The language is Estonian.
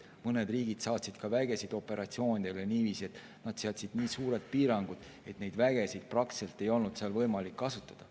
Mõned riigid saatsid vägesid operatsioonidele niiviisi, et nad seadsid nii piirangud, et neid vägesid ei olnud seal praktiliselt võimalik kasutada.